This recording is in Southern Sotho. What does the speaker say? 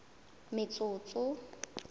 metsotso